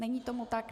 Není tomu tak?